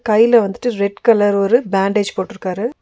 கைல வந்துட்டு red colour ஒரு பேண்டேஜ் போட்ருக்காரு.